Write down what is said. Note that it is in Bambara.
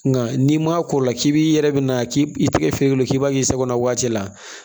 Nka n'i m'a ko la k'i bi i yɛrɛ bɛ na k'i tɛgɛ fe yen k'i b'a k'i sago la waati la